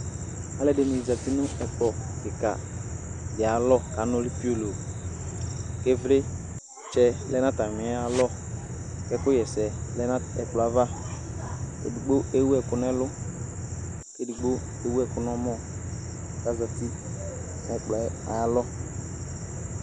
aloɛdini zati no ɛkplɔ keka di ayi alɔ k'anuli piolo k'ivlitsɛ lɛ n'atamialɔ k'ɛkò ɣ'ɛsɛ lɛ n'ɛkplɔɛ ava edigbo ewu ɛku n'ɛlu k'edigbo ewu ɛkò n'ɔmɔ k'azati n'ɛkplɔɛ ayi alɔ